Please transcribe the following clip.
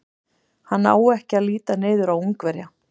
Hann á ekki að líta niður á Ungverja.